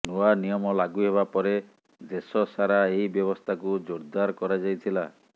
ନୂଆ ନିୟମ ଲାଗୁ ହେବା ପରେ ଦେଶ ସାରା ଏହି ବ୍ୟବସ୍ଥାକୁ ଜୋରଦାର କରାଯାଇଥିଲା